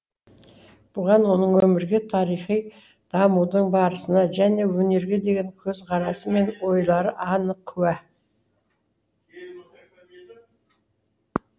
бұған оның өмірге тарихи дамудың барысына және өнерге деген көзқарасы мен ойлары анық куә